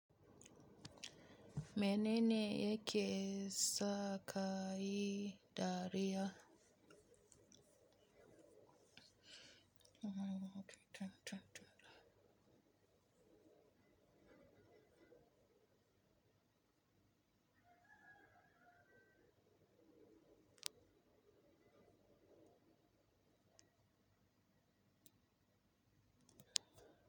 Menene yake sa kayi dariya?